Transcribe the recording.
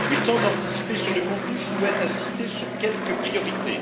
Sans anticiper sur le contenu, je souhaite insister sur quelques priorités.